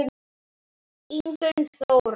Ingunn Þóra.